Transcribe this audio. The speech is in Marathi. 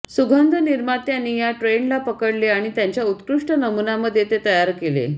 सुगंध निर्मात्यांनी या ट्रेंडला पकडले आणि त्यांच्या उत्कृष्ट नमुनामध्ये ते तयार केले